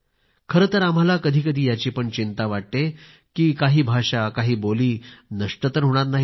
खरंतर आम्हाला कधीकधी याची पण चिंता वाटते कि काही भाषा काही बोली नष्ट तर होणार नाहीत ना